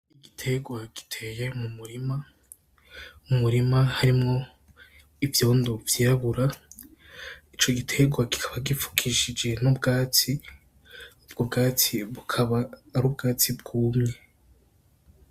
Igiterwa giteye mu murima , mwuwo murima harimwo ivyondo vyirabura , ico giterwa kikaba gifukishije n'ubwatsi , ubwo bwatsi bukaba ar'ubwatsi bwumye.